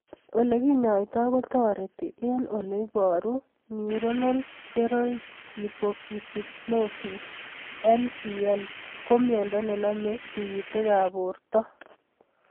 Ole kinyoitoi kotareti eng' ole iparugNeuronal ceroid lipofuscinosis (NCL) ko miondo nenamie tig'itik ab portg'�i miondo